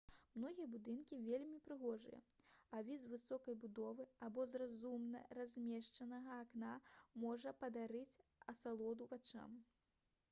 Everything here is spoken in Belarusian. многія будынкі вельмі прыгожыя а від з высокай будовы або з разумна размешчанага акна можа падарыць асалоду вачам